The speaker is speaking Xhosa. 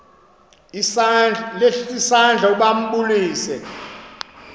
isandla ukuba ambulise